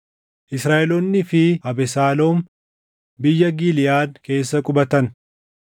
Israaʼeloonnii fi Abesaaloom biyya Giliʼaad keessa qubatan.